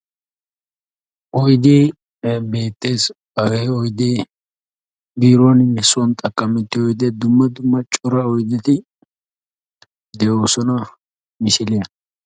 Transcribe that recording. Oydde beettes hagge oydde biiruwaninne sooni xaaqamettiyo dumma dumma cora oydetti de'ossona misiliyaan.